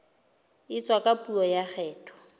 etswa ka puo ya kgetho